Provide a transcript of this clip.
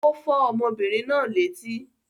Ó fọ́ ọmọbìnrin náà létí.